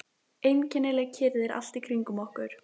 Einkennileg kyrrð er allt í kringum okkur.